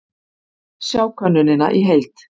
Sjá könnunina í heild